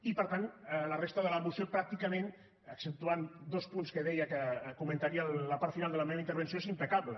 i per tant la resta de la moció pràcticament exceptuant dos punts que deia que comentaria a la part final de la meva intervenció és impecable